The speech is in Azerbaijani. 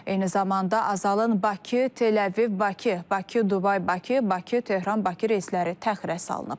Eyni zamanda Azalın Bakı, Təl-Əviv, Bakı, Bakı, Dubay, Bakı, Bakı, Tehran, Bakı reysləri təxirə salınıb.